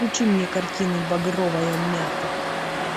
включи мне картину багровая мята